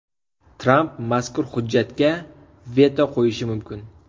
Tramp mazkur hujjatga veto qo‘yishi mumkin.